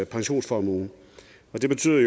pensionsformue og det betyder